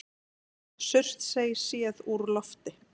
Surtsey séð úr lofti.